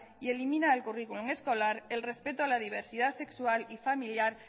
y elimina del currículum escolar el respeto a la diversidad sexual y familiar